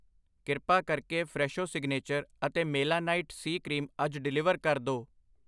ਕਿਰਪਾ ਕਰਕੇ Fresho signature ਅਤੇ ਮੇਲਾਨਾਈਟ ਸੀ ਕਰੀਮ ਅੱਜ ਡਿਲੀਵਰ ਕਰ ਦੋ ।